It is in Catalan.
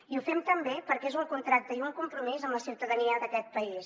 i ho fem també perquè és un contracte i un compromís amb la ciutadania d’aquest país